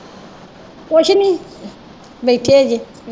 ਮੈਂ ਕਿਹਾ ਅਜੇ।